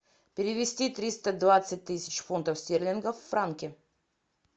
перевести триста двадцать тысяч фунтов стерлингов в франки